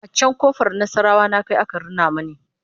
a can ƙofar nasarawa na Kai aka Rina mani